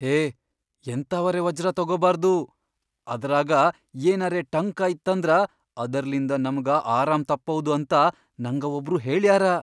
ಹೇ ಎಂಥಾವರೆ ವಜ್ರ ತೊಗೊಬಾರ್ದು, ಅದರಾಗ ಏನರೇ ಟಂಕ ಇತ್ತಂದ್ರ ಅದರ್ಲಿಂದ ನಮ್ಗ ಆರಾಮ್ ತಪ್ಪ್ಭೌದ್ ಅಂತ ನಂಗ ವಬ್ರು ಹೇಳ್ಯಾರ.